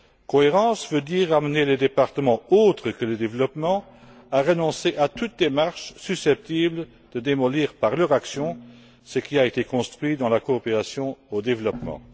Cohérence veut dire amener les départements autres que celui du développement à renoncer à toute démarche susceptible de démolir, par leur action, ce qui a été construit dans la coopération au développement.